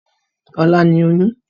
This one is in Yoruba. Ọ̀la ní oyún.